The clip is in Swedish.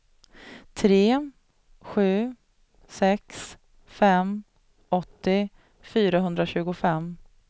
tre sju sex fem åttio fyrahundratjugofem